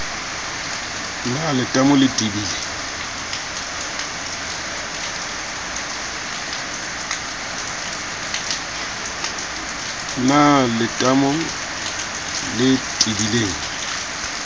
na le letamo le tebileng